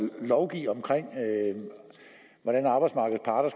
lovgive om hvordan arbejdsmarkedets parter